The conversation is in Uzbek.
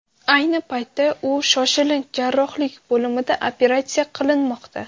Ayni paytda u shoshilinch jarrohlik bo‘limida operatsiya qilinmoqda.